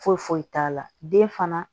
Foyi foyi t'a la den fana